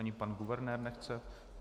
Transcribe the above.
Ani pan guvernér nechce?